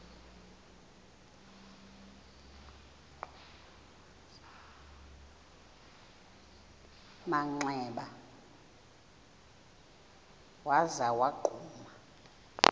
manxeba waza wagquma